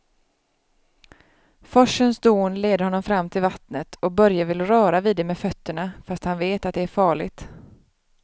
Forsens dån leder honom fram till vattnet och Börje vill röra vid det med fötterna, fast han vet att det är farligt.